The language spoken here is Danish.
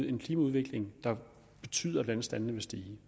en klimaudvikling der betyder at vandstandene vil stige